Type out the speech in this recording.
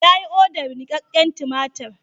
Yayi odar nikakken tumatir.